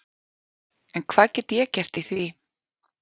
En hvað get ég gert í því.